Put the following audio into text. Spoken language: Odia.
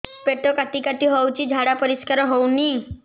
ପେଟ କାଟି କାଟି ହଉଚି ଝାଡା ପରିସ୍କାର ହଉନି